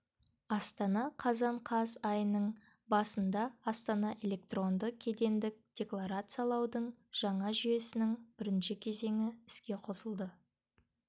астана қазан қаз қазан айының басында астана электронды кедендік декларациялаудың жаңа жүйесінің бірінші кезеңі іске қосылды